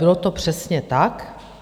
Bylo to přesně tak.